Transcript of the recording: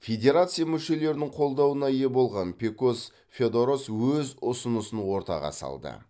федерация мүшелерінің қолдауына ие болған пекос феодорос өз ұсынысын ортаға салды